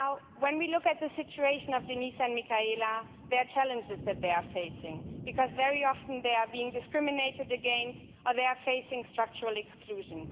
When we look at the situation of Denise and Michaela, there are challenges that they are facing, because very often they are being discriminated against or they are facing structural exclusion.